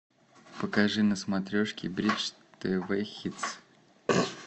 покажи на смотрешке бридж тв хитс